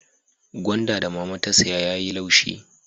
Gwanda da mama ta saya ya yi laushi